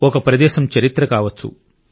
ఒక ప్రదేశం చరిత్ర కావచ్చు